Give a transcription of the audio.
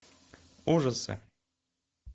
ужасы